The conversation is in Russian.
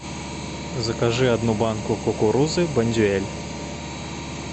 закажи одну банку кукурузы бондюэль